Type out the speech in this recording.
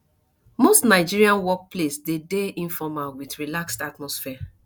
most nigerian work place dey de informal with relaxed atmosphere